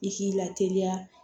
I k'i lateliya